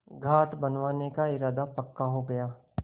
घाट बनवाने का इरादा पक्का हो गया